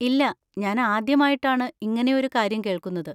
ഇല്ല, ഞാൻ ആദ്യമായിട്ടാണ് ഇങ്ങനെയൊരു കാര്യം കേൾക്കുന്നത്!